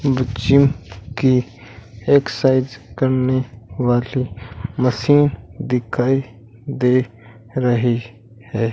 बच्चों की एक्सरसाइज करने वाली मशीन दिखाई दे रही है।